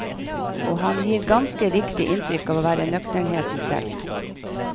Og han gir ganske riktig inntrykk av å være nøkternheten selv.